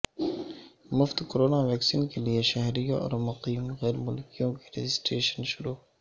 مفت corona vaccine کے لیے شہریوں اور مقیم غیر ملکیوں کی رجسٹریشن شروع